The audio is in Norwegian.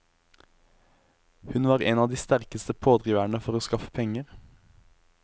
Hun var en av de sterkeste pådriverne for å skaffe penger.